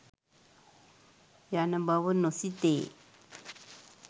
යන බව නොසිතේ.